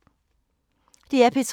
DR P3